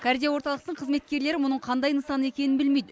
кардиорталықтың қызметкерлері мұның қандай нысан екенін білмейді